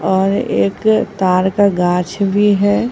और एक तार का गांछ भी है।